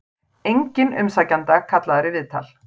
Enginn umsækjenda kallaður í viðtal